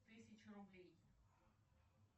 тысяча рублей